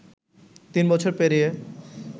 তিন বছর পেরিয়ে